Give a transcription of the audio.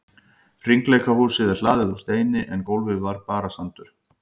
Hringleikahúsið er hlaðið úr steini en gólfið var bara sandur.